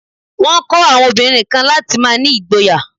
Wọ́n kọ́ àwọn obìnrin kan láti má ní ìgboyà.